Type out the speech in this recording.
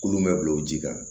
Kulon bɛ bila o ji kan